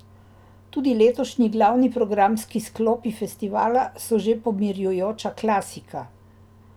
Tudi letošnji glavni programski sklopi festivala so že pomirjujoča klasika.